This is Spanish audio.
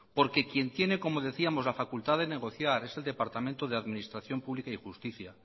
porque quien tiene como decíamos la facultad de negociar es el departamento de administración pública y justicia